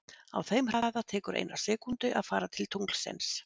Á þeim hraða tekur eina sekúndu að fara til tunglsins.